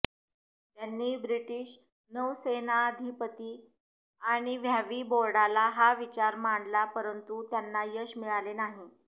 त्यांनी ब्रिटिश नौसेनाधिपती आणि वॅव्ही बोर्डाला हा विचार मांडला परंतु त्यांना यश मिळाले नाही